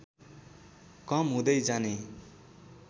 कम हुँदै जाने